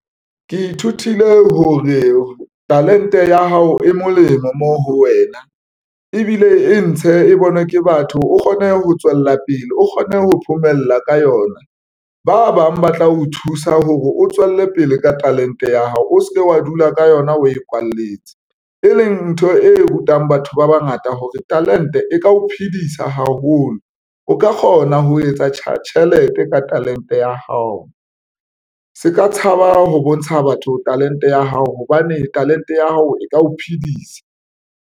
Ke ithutile hore talente ya hao e molemo mo ho wena ebile e ntshe e bonwe ke batho. O kgone ho tswella pele o kgone ho phomella ka yona. Ba bang ba tla o thusa hore o tswelle pele ka talente ya hao. O se ke wa dula ka yona o e kwalletse, e leng ntho e rutang batho ba bangata hore talente e ka o phedisa haholo, o ka kgona ho etsa tjhelete ka talente ya hao se ka tshaba ho bontsha batho talente ya hao, hobane talente ya hao e ka o phedisa.